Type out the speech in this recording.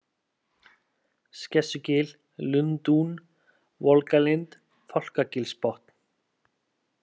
Skessugil, Lundún, Volgalind, Fálkagilsbotn